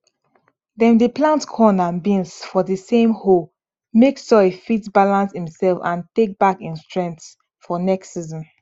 dem dey plant corn and beans for di same hole make soil fit balance imself and tek back im strength for next season